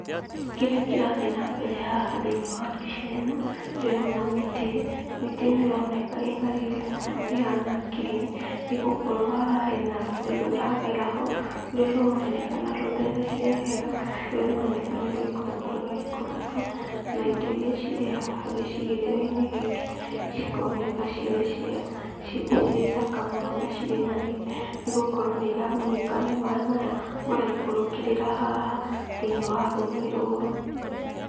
Kĩrĩa kĩrathiĩ na mbere haha thĩiniĩ wa mbica ĩno ndĩrona mĩtĩ, na mĩtĩ ĩno ĩroneka ĩna riri mũno ĩhana ngirini nĩgũkorwo haha hena rũĩ rũragera ho rũrĩa rũroneka rũthereire wega. Rũĩ rũrũ rũroneka nĩ gũikũrũka rũraikũrũka na indo iria cirĩ haha gĩcigĩrĩra-inĩ gĩkĩ cikoneka cirĩ thaka mũno, na cirĩ na riri nĩgũkorwo nĩiragũnĩka nĩ maaĩ maya maraikũrũkĩrĩra haha thĩiniĩ wa rũĩ rũrũ.